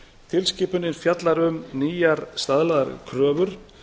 tilskipunin fjallar um um nýjar staðlaðar kröfur